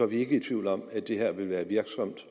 vi ikke i tvivl om at det her vil være virksomt